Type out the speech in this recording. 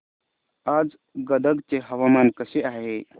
आज गदग चे हवामान कसे आहे